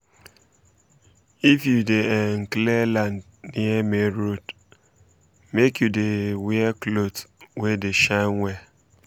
if you dey um clear land near main road um make you dey um wear cloth wey dey shine well